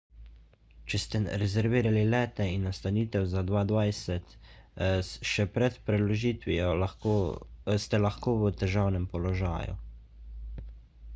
če ste rezervirali lete in nastanitev za 2020 še pred preložitvijo ste lahko v težavnem položaju